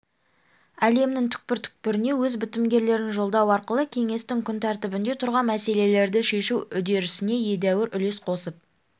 әлемнің түкпір-түкпіріне өз бітімгерлерін жолдау арқылы кеңестің күнтәртібінде тұрған мәселелерді шешу үдерісіне едәуір үлес қосып